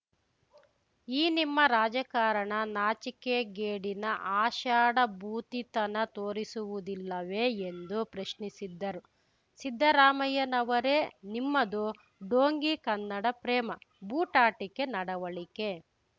ಈ ನಿಮ್ಮ ರಾಜಕಾರಣ ನಾಚಿಕೆಗೇಡಿನ ಆಷಾಢಭೂತಿತನ ತೋರಿಸುವುದಿಲ್ಲವೇ ಎಂದು ಪ್ರಶ್ನಿಸಿದ್ದರು ಸಿದ್ದರಾಮಯ್ಯನವರೇ ನಿಮ್ಮದು ಢೋಂಗಿ ಕನ್ನಡ ಪ್ರೇಮ ಬೂಟಾಟಿಕೆ ನಡವಳಿಕೆ